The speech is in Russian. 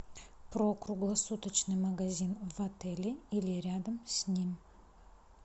про круглосуточный магазин в отеле или рядом с ним